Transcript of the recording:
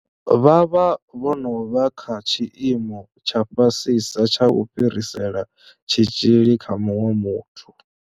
Vha vha vho no vha kha tshiimo tsha fhasisa tsha u fhirisela tshitzhili kha muṅwe muthu.